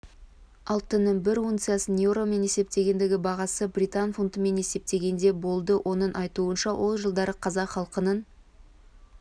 алтынның бір унциясының еуромен есептегендегі бағасы британ фунтымен есептегенде болды оның айтуынша ол жылдары қазақ халқының